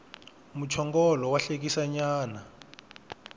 muchongolo wa hlekisa nyana